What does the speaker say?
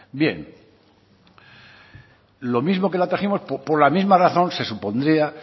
bien lo mismo que la trajimos por la misma razón se supondría